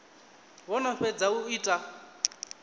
vho no fhedza u ita